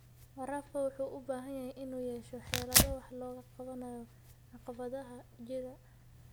Waraabka wuxuu u baahan yahay inuu yeesho xeelado wax looga qabanayo caqabadaha jira.